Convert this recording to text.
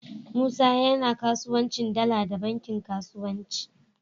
Musa yAna kasuwancin dala da bankin kasuwanci